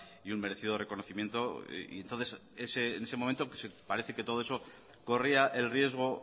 y un merecido reconocimiento y entonces en ese momento parece que todo eso corría el riesgo